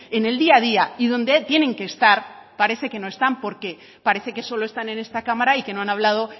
en el día a día y donde tienen que estar parece que no están porque parece que solo están en esta cámara y que no han hablado